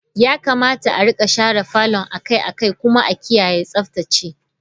Yakamata a rika share falon a kai a kai kuma a kiyaye Tsaftace.